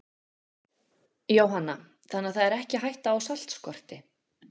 Jóhanna: Þannig það er ekki hætta á saltskorti?